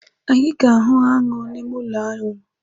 Anyị ga-ahụ aṅụ n’ime ụlọaṅụ